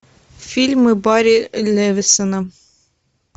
фильмы барри левинсона